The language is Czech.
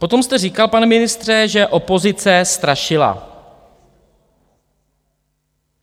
Potom jste říkal, pane ministře, že opozice strašila.